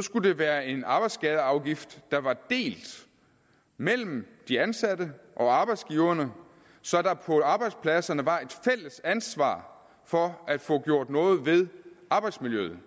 skulle det være en arbejdsskadeafgift der var delt mellem de ansatte og arbejdsgiverne så der på arbejdspladserne var et fælles ansvar for at få gjort noget ved arbejdsmiljøet